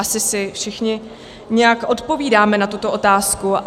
Asi si všichni nějak odpovídáme na tuto otázku.